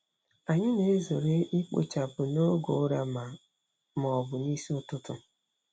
Anyị na-ezere ikpochapụ n'oge ụra ma ma ọ bụ n'isi ụtụtụ.